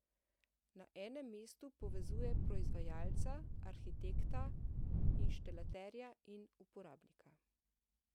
Na enem mestu povezuje proizvajalca, arhitekta, inštalaterja in uporabnika.